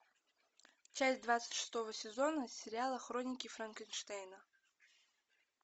часть двадцать шестого сезона сериала хроники франкенштейна